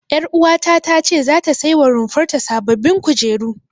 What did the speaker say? Ƴaruwata ta ce zata sai wa rumfar ta sababbin kujeru.